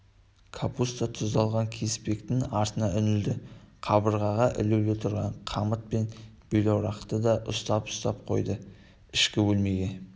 капуста тұздалған кеспектің артына үңілді қабырғада ілулі тұрған қамыт пен белорақты да ұстап-ұстап қойды ішкі бөлмеге